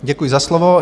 Děkuji za slovo.